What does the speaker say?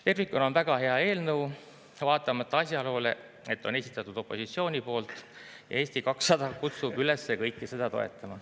Tervikuna on see väga hea eelnõu, vaatamata asjaolule, et on esitatud opositsiooni poolt, ja Eesti 200 kutsub üles kõiki seda toetama.